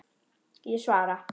Ég svara.